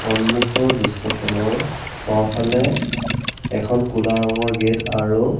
সন্মুখৰ দৃশ্যখনৰ বাওঁফালে এখন ক'লা ৰঙৰ গেট আৰু